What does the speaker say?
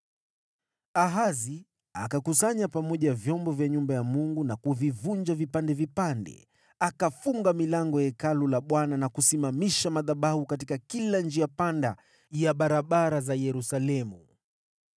Ahazi akakusanya pamoja vyombo vya nyumba ya Mungu na kuvivunja vipande vipande. Akafunga milango ya Hekalu la Bwana na kusimamisha madhabahu katika kila njia panda ya barabara za Yerusalemu.